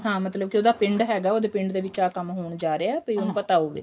ਹਾਂ ਮਤਲਬ ਕੇ ਉਹਦਾ ਪਿੰਡ ਹੈਗਾ ਉਹਦੇ ਪਿੰਡ ਦੇ ਵਿੱਚ ਆ ਕੰਮ ਹੋਣ ਜਾ ਰਿਹਾ ਹੈ ਵੀ ਉਹਨੂੰ ਪਤਾ ਹੋਵੇ